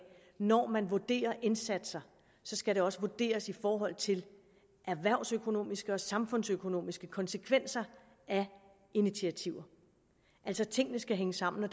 når man vurderer indsatser skal det også vurderes i forhold til erhvervsøkonomiske og samfundsøkonomiske konsekvenser af initiativer altså tingene skal hænge sammen